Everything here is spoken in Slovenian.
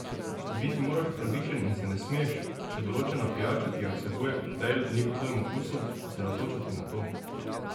Biti moraš pravičen in se ne smeš, če določena pijača, ki jo vsebuje koktajl, ni po tvojem okusu, osredotočati na to.